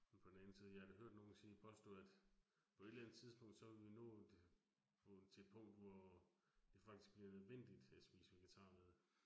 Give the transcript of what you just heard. Men på den anden side, jeg har da hørt nogen sige påstå, at på et eller andet tidspunkt, så vil vi nå til et punkt, hvor det faktisk bliver nødvendigt at spise vegetarmad